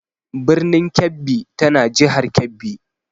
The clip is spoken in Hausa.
Birnin Kebbi tana jihar Kebbi.